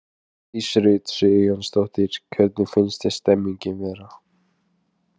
Hjördís Rut Sigurjónsdóttir: Hvernig finnst þér stemningin vera?